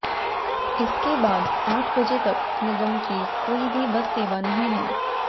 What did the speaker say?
इसके बाद आठ बजे तक निगम की कोई भी बस सेवा नहीं है